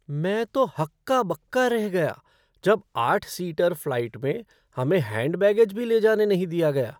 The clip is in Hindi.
मैं तो हक्का बक्का रह गया जब आठ सीटर फ़्लाइट में हमें हैंड बैगेज भी ले जाने नहीं दिया गया।